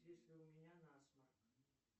если у меня насморк